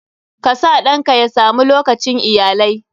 KA sa ɗanka ya sa mu lokacin iyalai.